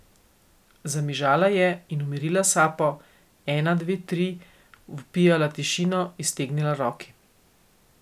Zamižala je in umirila sapo, ena dve tri, vpijala tišino, iztegnila roki.